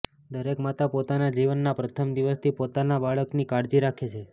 દરેક માતા પોતાના જીવનના પ્રથમ દિવસથી પોતાના બાળકની કાળજી રાખે છે